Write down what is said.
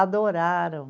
Adoraram.